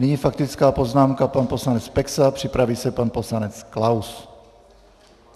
Nyní faktická poznámka pan poslanec Peksa, připraví se pan poslanec Klaus.